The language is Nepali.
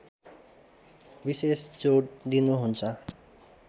विशेष जोड दिनुहुन्छ